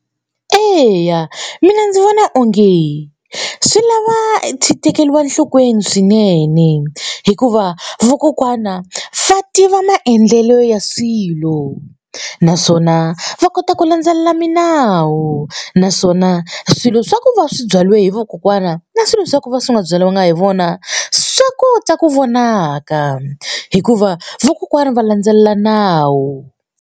Eya mina ndzi vona onge swi lava tekeriwa enhlokweni swinene hikuva vakokwana va tiva maendlelo ya swilo naswona va kota ku landzelela milawu naswona swilo swa ku va swi byariwa hi vakokwana na swilo swa ku va swi nga byaliwanga hi vona swa kota ku vonaka hikuva vakokwana va landzelela nawu.